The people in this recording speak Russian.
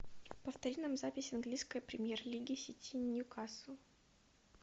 повтори нам запись английской премьер лиги сити ньюкасл